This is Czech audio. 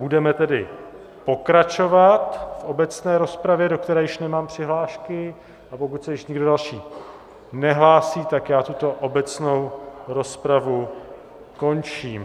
Budeme tedy pokračovat v obecné rozpravě, do které již nemám přihlášky, a pokud se již nikdo další nehlásí, tak já tuto obecnou rozpravu končím.